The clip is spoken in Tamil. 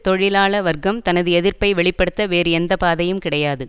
தொழிலாள வர்க்கம் தனது எதிர்ப்பை வெளி படுத்த வேறு எந்த பாதையும் கிடையாது